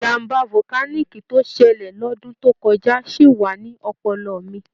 Ìjàm̀bá volcanic tó ṣẹlẹ̀ lọ́dún tó kọjá ṣì wà ní ọpọlọ mi.